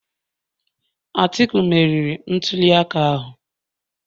Atiku meriri ntuliaka ahụ